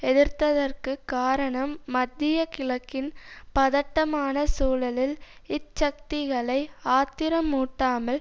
எதிர்த்ததற்கு காரணம் மத்திய கிழக்கின் பதட்டமான சூழலில் இச்சக்திகளை ஆத்திரமூட்டாமல்